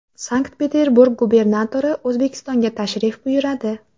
Sankt-Peterburg gubernatori O‘zbekistonga tashrif buyuradi.